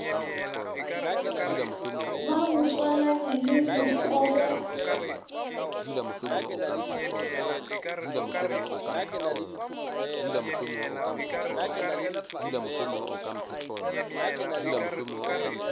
ba bo tswalanya le bokobo